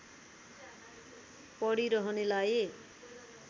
पढी रहनेलाई